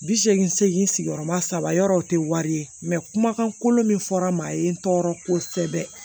Bi seegin seegin sigiyɔrɔma saba yɔrɔ o te wari ye kumakan kolo min fɔra n ma maa ye n tɔɔrɔ kosɛbɛ